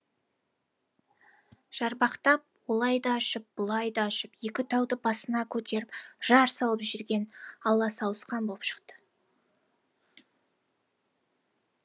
жарбақтап олай да ұшып бұлай да ұшып екі тауды басына көтеріп жар салып жүрген ала сауысқан болып шықты